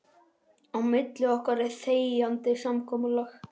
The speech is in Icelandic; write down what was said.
Á milli okkar er þegjandi samkomulag.